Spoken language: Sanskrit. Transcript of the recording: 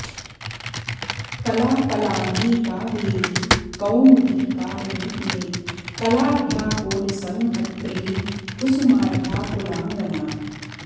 कला कलाङ्गी कावेरी कौमुदी कालरूपिणी कलाढ्या कोलसंहर्त्री कुसुमाढ्या कुलाङ्गना